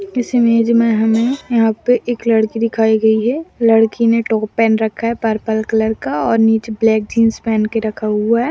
इस इमेज मे हमे यहाँ पे एक लड़की दिखाई गई है लड़की ने टॉप पहन रखा है पर्पल कलर का और नीचे ब्लैक जीन्स पहन के रखा हुआ हैं।